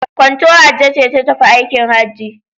Kwanta Hajjo ce ta tafi aikin Hajji